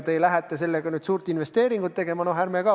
Kas te lähete sellega suurt investeeringut tegema?